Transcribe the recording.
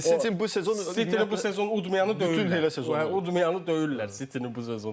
City bu sezon bu sezon udmayanı döyürlər, udmayanı döyürlər City-ni bu sezon.